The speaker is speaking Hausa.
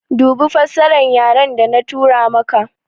Dubi fassaran yare da na tura maka